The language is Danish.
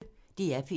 DR P1